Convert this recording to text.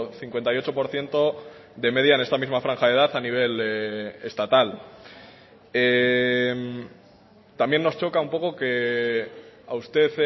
cincuenta y ocho por ciento de media en esta misma franja de edad a nivel estatal también nos choca un poco que a usted